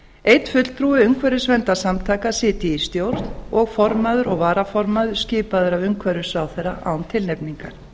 einn fulltrúi umhverfisverndarsamtaka sitji í stjórn og formaður og varaformaður skipaður af umhverfisráðherra án tilnefningar